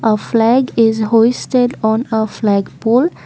a flag is hosted on a flagpole.